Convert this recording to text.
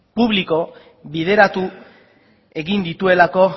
publiko bideratu egin dituelako